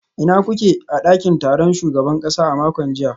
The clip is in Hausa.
Ina kuke a dakin taron shugaban kasa a makon jiya?